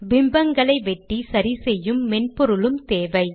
பிம்பங்களை வெட்டி சரிசெய்யும் மென்பொருளும் தேவை